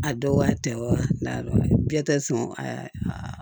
A dɔgɔya tɛ wa biɲɛ tɛ sɔn a